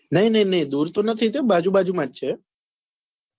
નહિ નહિ નહિ દુર તો નથી તે બાજુ બાજુ માં જ છે હા